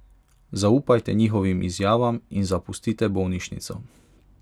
Zaupajte njihovim izjavam in zapustite bolnišnico.